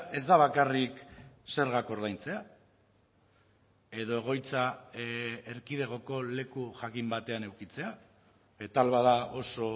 ez da bakarrik zergak ordaintzea edo egoitza erkidegoko leku jakin batean edukitzea eta ahal bada oso